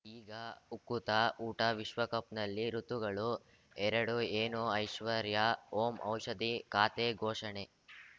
ಈಗ ಉಕುತ ಊಟ ವಿಶ್ವಕಪ್‌ನಲ್ಲಿ ಋತುಗಳು ಎರಡು ಏನು ಐಶ್ವರ್ಯಾ ಓಂ ಔಷಧಿ ಖಾತೆ ಘೋಷಣೆ